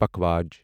پکھاوج